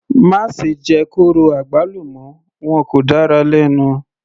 Má ṣe jẹ kóró àgbálùmọ́, wọn kò dára lẹ́nu.